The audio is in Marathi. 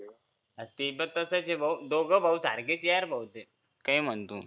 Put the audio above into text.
हा ते पण तसंच दोघे भाऊ सारखेच यार काय म्हण पण तू